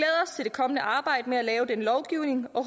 kommende arbejde med at lave denne lovgivning og